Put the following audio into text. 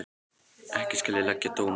Ekki skal ég leggja dóm á það.